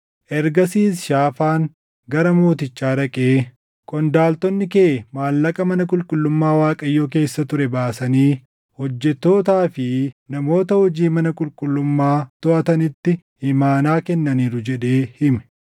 Ergasiis Shaafaan gara mootichaa dhaqee, “Qondaaltonni kee maallaqa mana qulqullummaa Waaqayyoo keessa ture baasanii hojjettootaa fi namoota hojii mana qulqullummaa toʼatanitti imaanaa kennaniiru” jedhee hime.